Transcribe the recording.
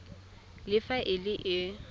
le fa e le e